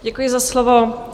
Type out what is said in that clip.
Děkuji za slovo.